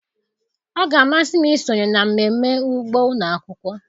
Ọ ga-amasị m isonye na mmemme ugbo ụlọ akwụkwọ.